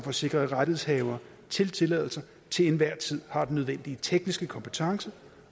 at sikre at rettighedshaver til tilladelser til enhver tid har den nødvendige tekniske kompetence